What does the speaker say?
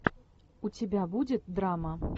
у тебя будет драма